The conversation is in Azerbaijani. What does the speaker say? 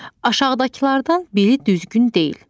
Aşağıdakılardan biri düzgün deyil.